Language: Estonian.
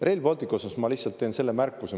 Rail Balticu kohta ma lihtsalt teen selle märkuse.